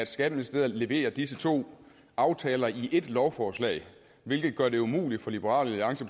skatteministeriet leverer disse to aftaler i ét lovforslag hvilket gør det umuligt for liberal alliance